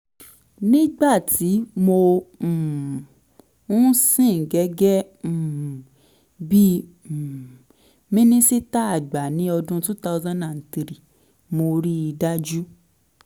nígbà tí mo um ń sìn gẹ́gẹ́ um bí um minisita àgbà ní ọdún two thousand three mo rí i dájú